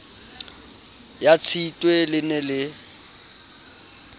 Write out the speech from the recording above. ya tshitwe le ne le